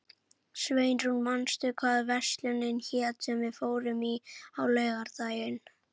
Sveinrún, manstu hvað verslunin hét sem við fórum í á laugardaginn?